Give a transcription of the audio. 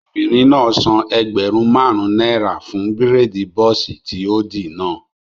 Obìnrin náà san ẹgbẹ̀rún máàrún náírà fún bírèèdì bọ́ọ̀sì tí ó dì náà